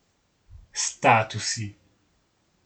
Statusi.